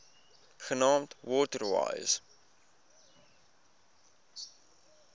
genaamd water wise